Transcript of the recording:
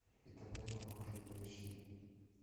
и тогда я ухожу поищи